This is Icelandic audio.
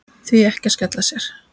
Því ekki að skella sér?